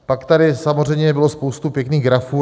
Pak tady samozřejmě bylo spoustu pěkných grafů.